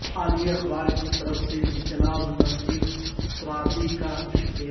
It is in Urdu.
عالمی اخبار کی طرف سے جناب نصیر ترابی کا شکریہ